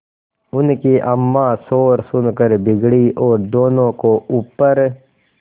उनकी अम्मां शोर सुनकर बिगड़ी और दोनों को ऊपर